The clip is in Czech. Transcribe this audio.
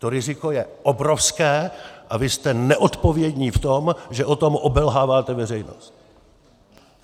To riziko je obrovské a vy jste neodpovědní v tom, že o tom obelháváte veřejnost.